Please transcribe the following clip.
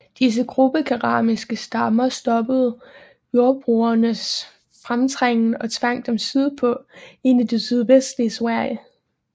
Disse grubekeramiske stammer stoppede jordbrugernes fremtrængen og tvang dem sydpå ind i det sydvestlige Sverige